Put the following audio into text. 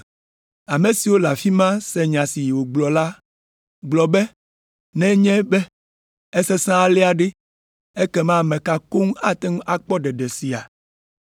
Ame siwo le afi ma se nya si wògblɔ la gblɔ be, “Nenye be esesẽ alea ɖe, ekema ame ka koŋ ate ŋu akpɔ ɖeɖe sia?”